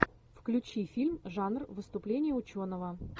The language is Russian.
включи фильм жанр выступление ученого